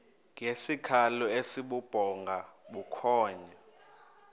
ngesikhalo esibubhonga bukhonya